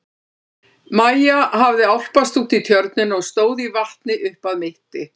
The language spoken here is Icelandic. Maja hafði álpast út í tjörnina og stóð í vatni upp að mitti.